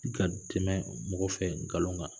I ka tɛmɛ mɔgɔ fɛ nkalon kan